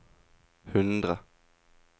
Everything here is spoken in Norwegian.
hundre